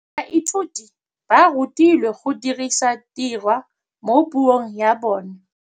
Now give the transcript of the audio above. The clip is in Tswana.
Baithuti ba rutilwe go dirisa tirwa mo puong ya bone.